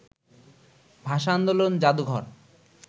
ভাষা-আন্দোলন জাদুঘর